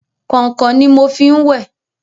Kọ̀nkọ̀n ni mo fi ń wẹ̀.